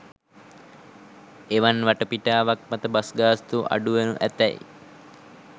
එවන් වටපිටාවක් මත බස් ගාස්තුව අඩු වනු ඇතැයි